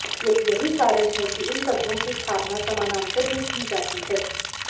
यही कारण है कि इन तत्वों की स्थापना समानांतर में की जाती है